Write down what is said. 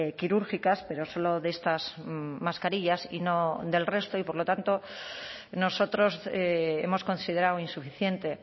quirúrgicas pero solo de estas mascarillas y no del resto y por lo tanto nosotros hemos considerado insuficiente